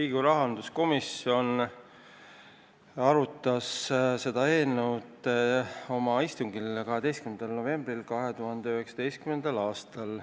Riigikogu rahanduskomisjon arutas seda eelnõu oma istungil 12. novembril 2019. aastal.